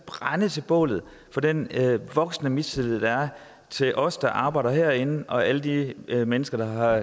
brænde til bålet for den voksende mistillid der er til os der arbejder herinde fra alle de mennesker der har